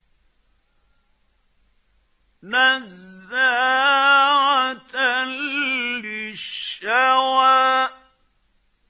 نَزَّاعَةً لِّلشَّوَىٰ